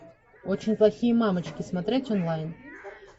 очень плохие мамочки смотреть онлайн